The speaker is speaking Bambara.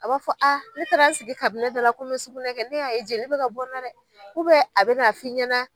A b'a fɔ ne taara n sigi da la kɔmi sugunɛ kɛ ne y'a ye jeli bi ka bɔna dɛ a bɛna f'i ɲɛna